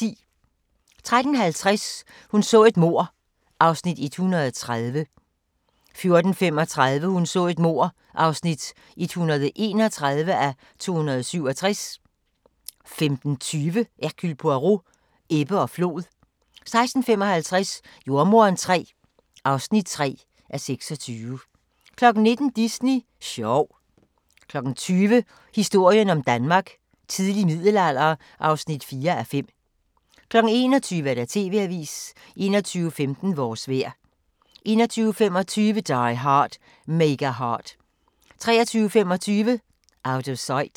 13:50: Hun så et mord (130:267) 14:35: Hun så et mord (131:267) 15:20: Hercule Poirot: Ebbe og flod 16:55: Jordemoderen III (3:26) 19:00: Disney sjov 20:00: Historien om Danmark: Tidlig middelalder (4:5) 21:00: TV-avisen 21:15: Vores vejr 21:25: Die Hard – Mega Hard 23:25: Out of Sight